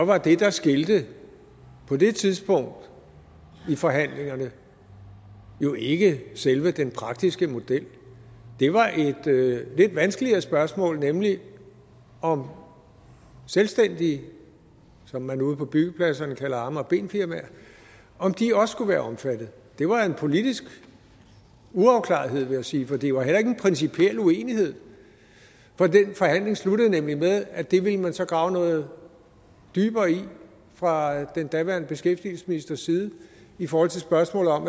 var det der skilte på det tidspunkt i forhandlingerne jo ikke selve den praktiske model det var et lidt vanskeligere spørgsmål nemlig om selvstændige som man ude på byggepladserne kalder arme og ben firmaer også skulle være omfattet det var en politisk uafklarethed vil jeg sige for det var heller ikke en principiel uenighed for den forhandling sluttede nemlig med at det ville man så grave noget dybere i fra den daværende beskæftigelsesministers side forhold til spørgsmålet om